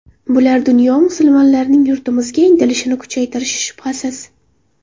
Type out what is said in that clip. Bular dunyo musulmonlarining yurtimizga intilishini kuchaytirishi shubhasiz.